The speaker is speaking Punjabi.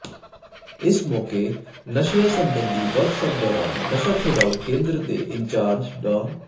ਇਸ ਮੌਕੇ ਨਸ਼ਿਆਂ ਸਬੰਧੀ ਵਰਕਸ਼ਾਪ ਦੌਰਾਨ ਨਸ਼ਾ ਛੁਡਾਊ ਕੇਂਦਰ ਦੇ ਇੰਚਾਰਜ ਡਾ